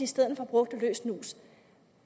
stedet for bruger løs snus